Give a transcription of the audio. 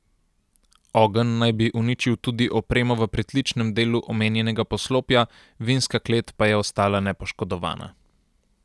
Ogenj naj bi uničil tudi opremo v pritličnem delu omenjenega poslopja, vinska klet pa je ostala nepoškodovana.